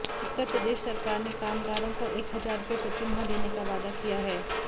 उत्तर प्रदेश सरकार ने कामगारों को एक हजार रूपये प्रतिमाह देने का वादा किया है